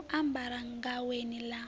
ya u ambara gaweni ḽa